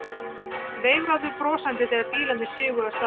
Veifuðum brosandi þegar bílarnir sigu af stað.